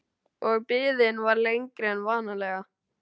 Og biðin var lengri en vanalega.